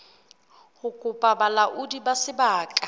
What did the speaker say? ho kopa bolaodi ba sebaka